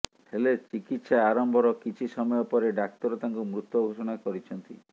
ହେଲେ ଚିକିତ୍ସା ଆରମ୍ଭର କିଛି ସମୟ ପରେ ଡାକ୍ତର ତାଙ୍କୁ ମୃତ ଘୋଷଣା କରିଛନ୍ତି